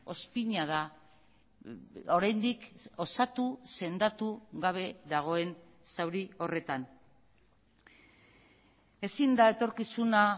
ozpina da oraindik osatu sendatu gabe dagoen zauri horretan ezin da etorkizuna